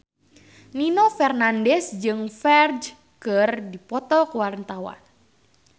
Nino Fernandez jeung Ferdge keur dipoto ku wartawan